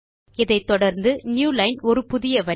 இதை தொடர்ந்து நியூலைன் ஒரு புதிய வரி